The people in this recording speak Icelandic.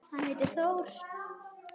Hann heitir Þór.